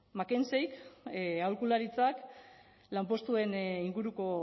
mackenzie aholkularitzak lanpostuen inguruko